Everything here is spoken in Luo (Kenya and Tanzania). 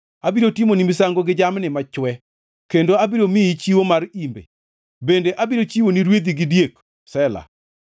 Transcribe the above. Abiro timoni misango gi jamni machwe kendo abiro miyi chiwo mar imbe; bende abiro chiwoni rwedhi gi diek. Sela